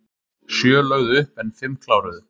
Sjö lögðu upp en fimm kláruðu